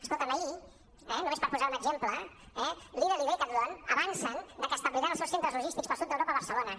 escolta’m ahir eh només per posar un exemple eh lidl i decathlon avancen que establiran els seus centres logístics per al sud d’europa a barcelona